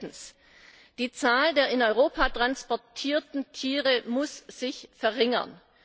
Und drittens Die Zahl der in Europa transportierten Tiere muss sich verringern.